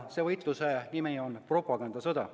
Selle võitluse nimi on propagandasõda.